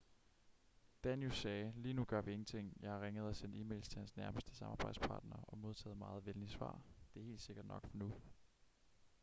danius sagde lige nu gør vi ingenting jeg har ringet og sendt e-mails til hans nærmeste samarbejdspartner og modtaget meget venlige svar det er helt sikkert nok for nu